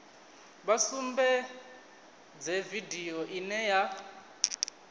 vha sumbedze vidio ine ya